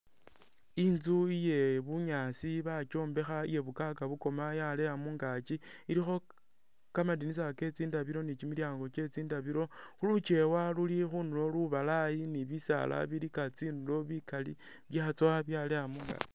Inzu iye bunyaasi bakyombekha eya bukaga bukoma yaleya mungaki elikho kamadinisa ke tsindabilo ni kimilyango kye tsindabilo, lucheewa luli khundulo lubalaayi ni bisaala bilika tsindulo bikali byatsowa byaleya mungaki.